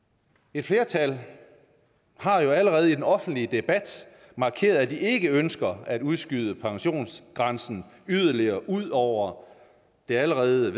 et flertal har jo allerede i den offentlige debat markeret at de ikke ønsker at udskyde pensionsgrænsen yderligere altså ud over det allerede